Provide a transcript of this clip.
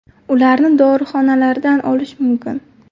Ularni dorixonalardan olish mumkin.